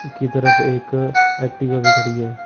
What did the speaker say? की तरफ एक एक्टिवा भी खड़ी है।